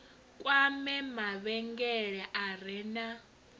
kwame mavhengele a re na